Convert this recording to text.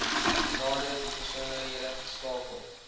nadere besonderhede skakel